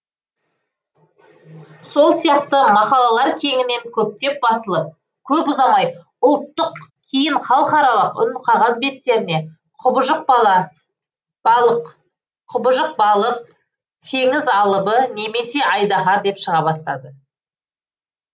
сол сияқты мақалалар кеңінен көптеп басылып көп ұзамай ұлттық кейін халықаралық үнқағаз беттеріне құбыжық балық теңіз алыбы немесе айдаһар деп шыға бастады